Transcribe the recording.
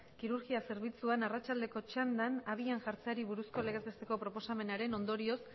kirurgia zerbitzuan arratsaldeko txanda abian jartzeari buruzko legez besteko proposamenaren ondorioz